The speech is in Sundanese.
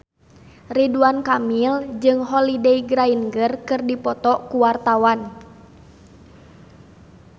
Ridwan Kamil jeung Holliday Grainger keur dipoto ku wartawan